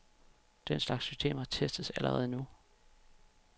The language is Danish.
Den slags systemer testes allerede nu.